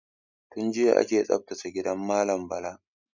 Tun jiya aka tsaftace gidan malam Bala.